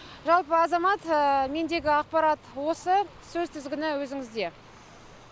жалпы азамат мендегі ақпарат осы сөз тізгіні өзіңізде